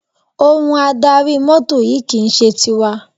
Ohun adarí mọ́tò yìí kì í ṣe tiwa.